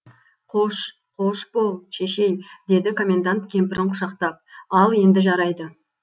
қош қош бол шешей деді комендант кемпірін құшақтап ал енді жарайды